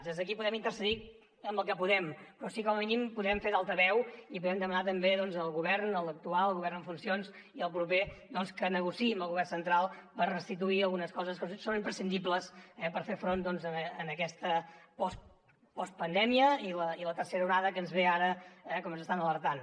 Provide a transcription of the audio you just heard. des d’aquí podem intervenir en el que podem però com a mínim podem fer d’altaveu i podem demanar també al govern a l’actual al govern en funcions i al proper doncs que negociï amb el govern central per restituir algunes coses que són imprescindibles per fer front a aquesta postpandèmia i la tercera onada que ens ve ara com ens estan alertant